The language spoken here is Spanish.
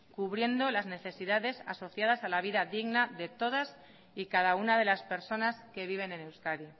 cubriendo las necesidades asociadas a la vida digna de todas y cada una de las personas que viven en euskadi